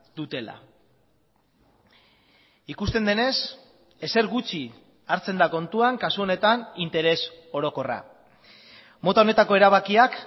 dutela ikusten denez ezer gutxi hartzen da kontuan kasu honetan interes orokorra mota honetako erabakiak